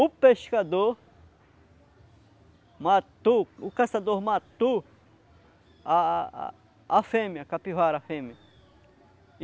O pescador matou, o caçador matou a a a fêmea, a capivara a fêmea.